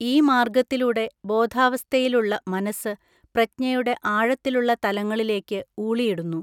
ഈ മാർഗ്ഗത്തിലൂടെ ബോധാവസ്ഥയിലുള്ള മനസ്സ് പ്രജ്ഞയുടെ ആഴത്തിലുള്ള തലങ്ങളിലേക്ക് ഊളിയിടുന്നു.